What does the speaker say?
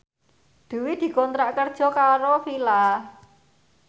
Dwi dikontrak kerja karo Fila